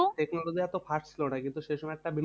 Technology এত fast ছিল না কিন্তু সে সময় একটা